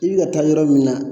I bi ka taa yɔrɔ min na